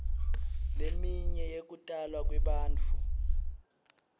leminye yekutalwa kwebantfu